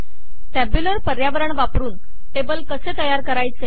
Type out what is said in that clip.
tabular पर्यावरण वापरुन table कसे तयार करायचे160